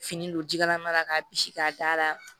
Fini don ji kalama la k'a bisi k'a da